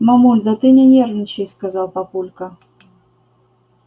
мамуль да ты не нервничай сказал папулька